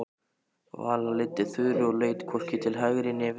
Vala leiddi Þuru og leit hvorki til hægri né vinstri.